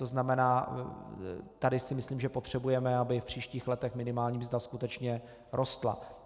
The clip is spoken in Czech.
To znamená, tady si myslím, že potřebujeme, aby v příštích letech minimální mzda skutečně rostla.